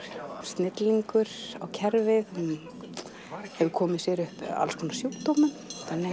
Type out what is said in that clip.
snillingur á kerfið hefur komið sér upp ýmsum sjúkdómum